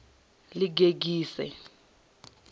ḽigegise